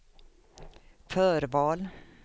förval